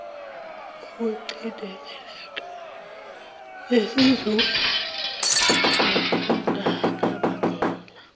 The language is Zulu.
ukucindezeleka nesizungu kungakubangela